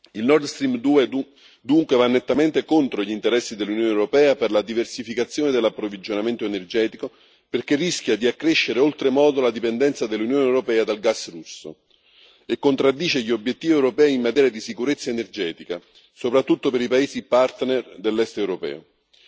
Il NordStream 2, dunque, va nettamente contro gli interessi dell'Unione europea per la diversificazione dell'approvvigionamento energetico, perché rischia di accrescere oltremodo la dipendenza dell'Unione europea dal gas russo e contraddice gli obiettivi europei in materia di sicurezza energetica, soprattutto per i paesi partner dell'Europa dell'Est.